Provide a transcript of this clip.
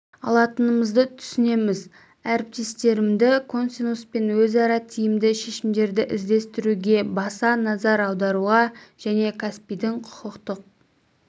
алатынымызды түсінеміз әріптестерімді консесус пен өзара тиімді шешімдерді іздестіруге баса назар аударуға және каспийдің құқықтық